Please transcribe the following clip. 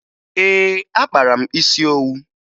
Ee, akpara m isi owu